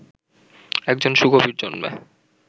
এক জন সুকবি জন্মে